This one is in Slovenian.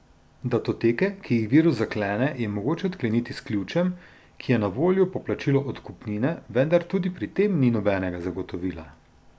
Datoteke, ki jih virus zaklene, je mogoče odkleniti s ključem, ki je na voljo po plačilu odkupnine, vendar tudi pri tem ni nobenega zagotovila.